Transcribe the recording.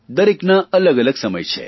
દરેકના અલગઅલગ સમય છે